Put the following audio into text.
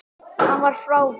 Hann var frábær.